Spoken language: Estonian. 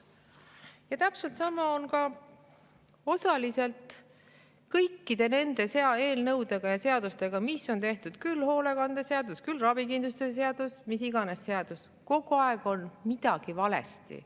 Ja täpselt sama on osaliselt kõikide nende eelnõudega ja seadustega, mis on tehtud – küll hoolekandeseadus, küll ravikindlustuse seadus, mis iganes seadus –, kogu aeg on midagi valesti.